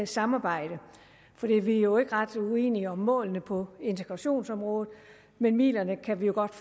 samarbejde for vi er jo ikke ret uenige om målene på integrationsområdet men midlerne kan vi godt